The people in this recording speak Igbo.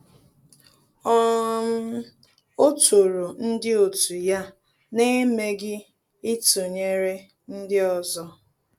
um Ọ́ tòrò ndị otu ya n’éméghị́ ítụ́nyéré ndị ọzọ.